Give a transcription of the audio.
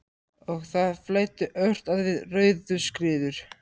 Og það flæddi ört að við Rauðuskriður.